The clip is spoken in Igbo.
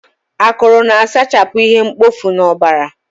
Akụrụ na-asachapụ ihe mkpofu n'ọbara.